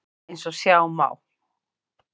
Eins og sjá má á